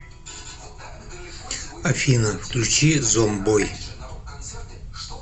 афина включи зомбой